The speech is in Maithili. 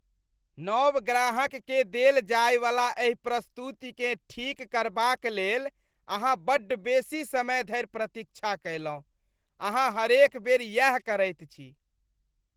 नव ग्राहककेँ देल जायवला एहि प्रस्तुतिकेँ ठीक करबाक लेल अहाँ बड्ड बेसी समय धरि प्रतीक्षा कयलहुँ । अहाँ हरेक बेर यैह करैत छी।